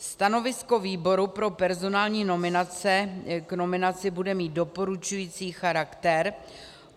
Stanovisko výboru pro personální nominace k nominaci bude mít doporučující charakter.